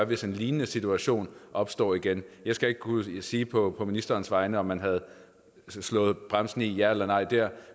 hvis en lignende situation opstår igen jeg skal ikke kunne sige på ministerens vegne om man havde slået bremsen i der ja eller nej